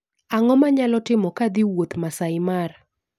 Ang'o manyalo timo kadhii wuotho masaai mara